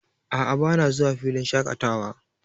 A'a, bana zuwa filin shaƙatawa.